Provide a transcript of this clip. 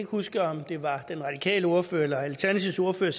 huske om det var den radikale ordfører eller alternativets ordfører